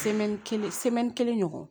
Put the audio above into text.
kelen kelen ɲɔgɔn